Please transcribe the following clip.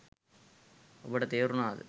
ඔබට තේරුනාද